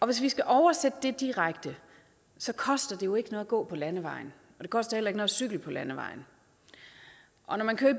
hvis vi skal oversætte det direkte koster det jo ikke noget at gå på landevejen og det koster heller ikke noget at cykle på landevejen og når man kører